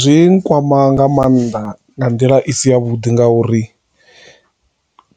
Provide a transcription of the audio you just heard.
Zwi kwama nga maanḓa nga nḓila i si ya vhuḓi ngauri